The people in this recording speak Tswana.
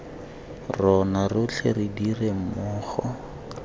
rona rotlhe re dire mmogo